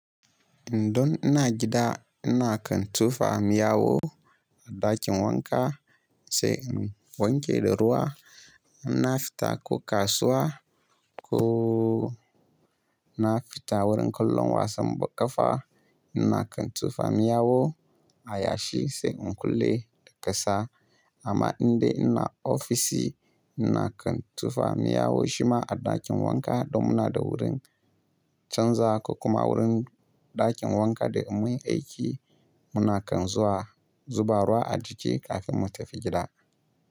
Indon ina gida ina kan tufa miyawo a ɗakin wanka sai in wanke da ruwa. Inna fita ko kasuwa ko na fita wurin kallon wasan b-- ƙafa nna kan tufa miyawo a yashi sai in kulle da ƙasa. Amma indai ina ofisi ina kan tufa miyawo shima a ɗakin wanka don muna da wurin canza ko kuma wurin ɗakin wanka da in munyi aiki. Muna kan zuwa zuba ruwa a jiki kafin mu tafi gida.